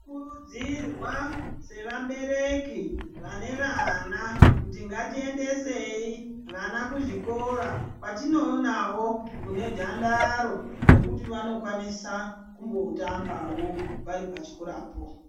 Tinokurudzirwa sevabereki vane vana, kuti ngatiendesei vana kuzvikora kwetinoonawo kune dhandaro, rekuti vanokwanisa kumbotambawo vari pachikorapo.